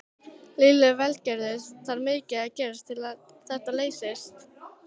Lillý Valgerður: Þarf mikið að gerast til að þetta leysist?